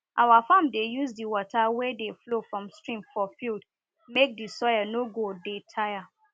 our farm dey use di water wey dey flow from stream for field make di soil no go dey tire